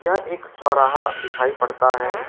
यह एक चौराहा दिखाई पड़ता है।